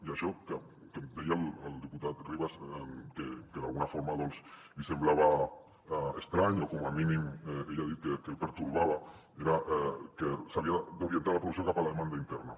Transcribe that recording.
i això que em deia el diputat ribas que d’alguna forma doncs li semblava estrany o com a mínim ell ha dit que el pertorbava era que s’havia d’orientar la producció cap a la demanda interna